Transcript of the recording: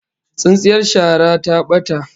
Tsintsiyar shara ta bata